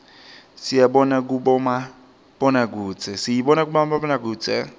siyibona kubomabonakudze